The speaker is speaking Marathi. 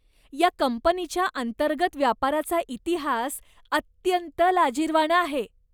या कंपनीच्या अंतर्गत व्यापाराचा इतिहास अत्यंत लाजिरवाणा आहे.